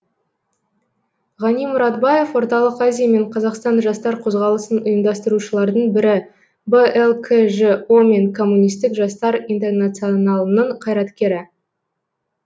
ғани мұратбаев орталық азия мен қазақстан жастар қозғалысын ұйымдастырушылардың бірі блкжо мен коммунистік жастар интернационалының қайраткері